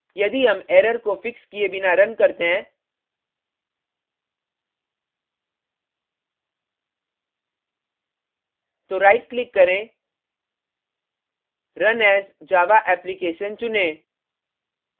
यदि हम error को फिक्स किये बिना रन करते हैं तो right click करें run as java application चुनें